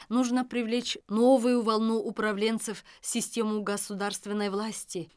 нужно привлечь новую волну управленцев в систему государственной власти